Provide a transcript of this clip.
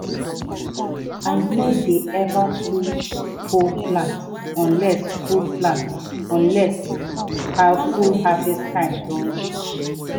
i no dey ever pull whole plant unless full plant unless full harvest time don reach.